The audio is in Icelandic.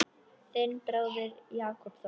Þinn bróðir, Jakob Þór.